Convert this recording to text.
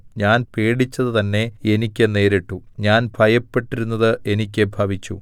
ഞാൻ പേടിച്ചത് തന്നെ എനിക്ക് നേരിട്ടു ഞാൻ ഭയപ്പെട്ടിരുന്നത് എനിക്ക് ഭവിച്ചു